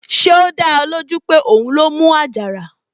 Ṣé ó dá ẹ lójú pé òun ló mú àjàrà?